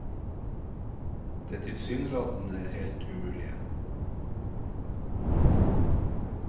Det tilsynelatende helt umulige.